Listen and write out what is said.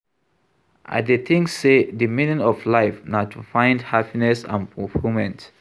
I dey think say di meaning of life na to find happiness and fulfillment.